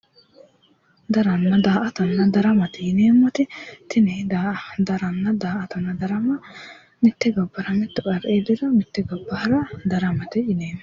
daramanna daa''ata yineemmo wote tini daa''atanna darama mitte gobbara mittu qarri iilliro mitte gobba hara daramate yineemmo.